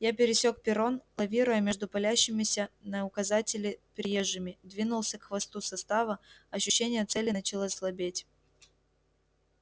я пересёк перрон лавируя между палящимися на указатели приезжими двинулся к хвосту состава ощущение цели начало слабеть